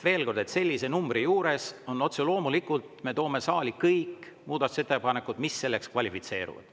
Veel kord, sellise numbri juures otse loomulikult me toome saali kõik muudatusettepanekud, mis selleks kvalifitseeruvad.